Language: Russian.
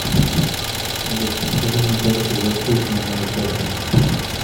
салют подскажи мне тарифы за обслуживание моей карты